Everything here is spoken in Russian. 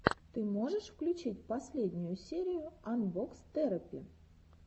ты можешь включить последнюю серию анбокс терапи